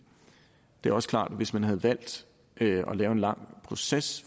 det er også klart at hvis man havde valgt at lave en lang proces